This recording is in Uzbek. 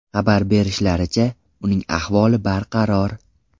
Xabar berishlaricha, uning ahvoli barqaror.